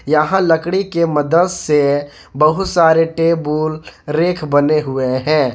यहां लकड़ी के मदद से बहुत सारे टेबुल रैक बने हुए हैं।